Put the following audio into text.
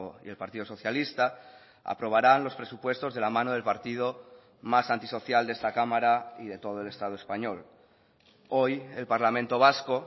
y el partido socialista aprobaran los presupuestos de la mano del partido más antisocial de esta cámara y de todo el estado español hoy el parlamento vasco